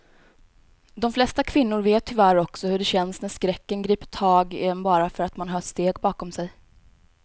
De flesta kvinnor vet tyvärr också hur det känns när skräcken griper tag i en bara för att man hör steg bakom sig.